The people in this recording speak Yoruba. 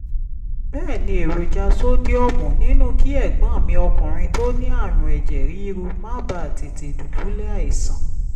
bẹ́ẹ̀ ní èròjà sódíọ̀mù nínú kí ẹ̀gbọ́n mi ọkùnrin tó ní àrùn ẹ̀jẹ̀ ríru má bàa tètè dùbúlẹ̀ àìsàn